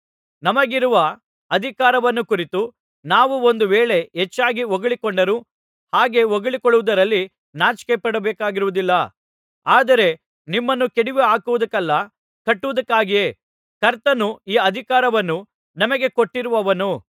ನಮಗಿರುವ ಅಧಿಕಾರವನ್ನು ಕುರಿತು ನಾವು ಒಂದು ವೇಳೆ ಹೆಚ್ಚಾಗಿ ಹೊಗಳಿಕೊಂಡರೂ ಹಾಗೆ ಹೊಗಳಿಕೊಳ್ಳುವುದರಲ್ಲಿ ನಾಚಿಕೆಪಡಬೇಕಾಗಿರುವುದಿಲ್ಲ ಆದರೆ ನಿಮ್ಮನ್ನು ಕೆಡವಿಹಾಕುವುದಕ್ಕಲ್ಲ ಕಟ್ಟುವುದಕ್ಕಾಗಿಯೇ ಕರ್ತನು ಈ ಅಧಿಕಾರವನ್ನು ನಮಗೆ ಕೊಟ್ಟಿರುವವನು